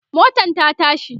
motan ta tashi